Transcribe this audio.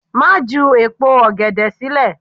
Má ju èpo ọ̀gẹ̀dẹ̀ sílẹ̀!